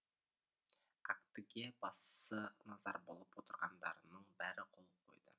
актіге басы назар болып отырғандарының бәрі қол қойды